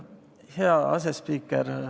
Hea asespiiker!